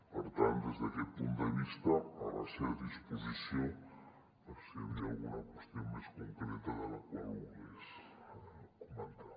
per tant des d’aquest punt de vista a la seva disposició per si hi havia alguna qüestió més concreta la qual volgués comentar